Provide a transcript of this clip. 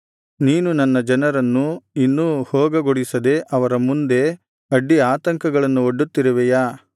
ನೀನು ನನ್ನ ಜನರನ್ನು ಇನ್ನೂ ಹೋಗಗೊಡಿಸದೆ ಅವರ ಮುಂದೆ ಅಡ್ಡಿ ಆತಂಕಗಳನ್ನು ಒಡ್ಡುತ್ತಿರುವೆಯಾ